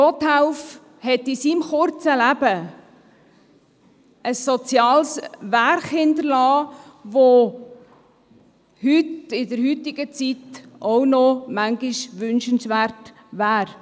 Gotthelf hat in seinem kurzen Leben ein soziales Werk hinterlassen, wie es auch in der heutigen Zeit noch manchmal wünschenswert wäre.